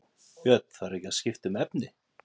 Björn: Þarf ekki að skipta um efni?